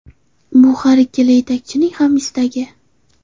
Bu har ikkala yetakchining ham istagi.